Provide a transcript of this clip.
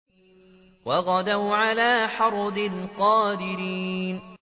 وَغَدَوْا عَلَىٰ حَرْدٍ قَادِرِينَ